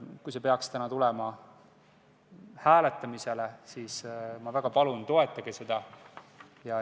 Kui see peaks täna tulema hääletamisele, siis ma väga palun: toetage seda!